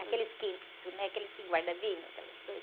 Aqueles que, né? Aqueles que guarda vinho, aquelas coisas.